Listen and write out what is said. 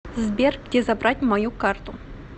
сбер где забрать мою карту